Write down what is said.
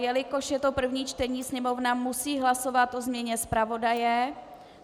Jelikož je to první čtení, Sněmovna musí hlasovat o změně zpravodaje.